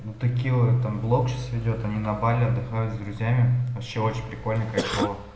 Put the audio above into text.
ну текила там блог сейчас ведёт они на бали отдыхают с друзьями вообще очень прикольно кайфово